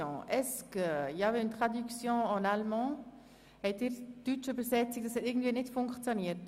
Hat die Übersetzung auf Deutsch nicht funktioniert?